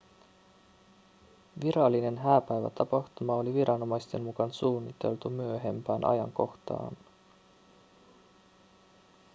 virallinen hääpäivätapahtuma oli viranomaisten mukaan suunniteltu myöhempään ajankohtaan